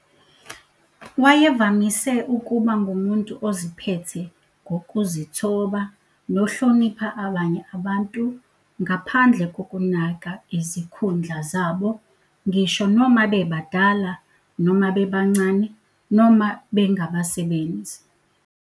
Wayevamise ukuba ngumuntu oziphethe ngokuzithoba, nohlonipha abanye abantu, ngaphandle kokunaka izikhundla zabo, ngisho noma bebadala noma bebancane, noma bengabasebenzi.